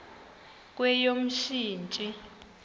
kweyomsintsi